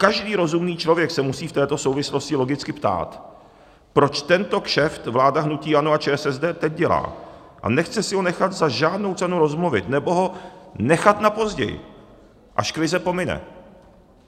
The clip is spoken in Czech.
Každý rozumný člověk se musí v této souvislosti logicky ptát, proč tento kšeft vláda hnutí ANO a ČSSD teď dělá a nechce si ho nechat za žádnou cenu rozmluvit nebo ho nechat na později, až krize pomine.